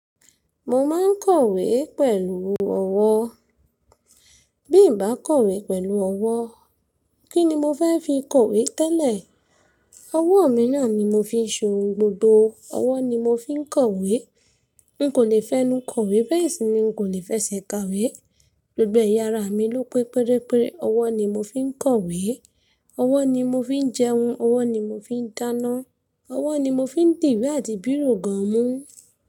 Mo máa ń kọ̀wé pẹ̀lú ọwọ́. Bí mo bá kọ̀wé pẹ̀lú ọwọ́, kí ni mo fẹ́ fi kọ̀wé tẹ́lẹ̀? Ọwọ́ mi náà ni mo fi ń ṣe oun gbogbo. Ọwọ́ ni mo fi ń kọ̀wé. N kò lè fẹ́ nu kọ̀wé bẹ́ẹ̀ sì ni n kò lè fẹ́ sẹ́kawe. Gbogbo ẹ̀yà ara mi ló pé péré péré, ọwọ́ ni mo fi ń kọ̀wé, ọwọ́ ni mo fi ń jẹun, ọwọ́ ni mo fi ń dáná, ọwọ́ ni mo fi ń dìwé àti bíró gan mú.